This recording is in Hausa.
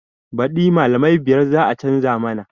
Baɗi malamai biyar za a canza mana